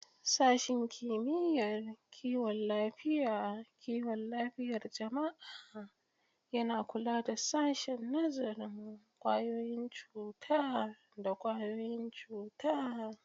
Sashen Kimiyyar Kiwon Lafiyar Kiwon Lafiyar Jama'a yana kula da Sashen Nazarin ƙwayoyin cuta da ƙwayoyin cuta.